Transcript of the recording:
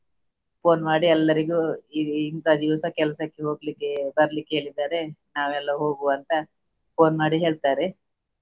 Phone ಮಾಡಿ ಎಲ್ಲರಿಗೂ ಇಂತ ದಿವಸ ಕೆಲಸಕ್ಕೆ ಹೋಗ್ಲಿಕ್ಕೆ ಬರ್ಲಿಕ್ಕೆ ಹೇಳಿದ್ದಾರೆ ನಾವೆಲ್ಲಾ ಹೋಗುವ ಅಂತ phone ಮಾಡಿ ಹೇಳ್ತಾರೆ.